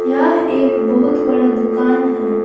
यह एक बहुत बड़ा दुकान है।